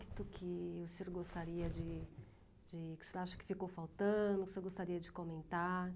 que o senhor gostaria de de... que o senhor acha que ficou faltando, que o senhor gostaria de comentar?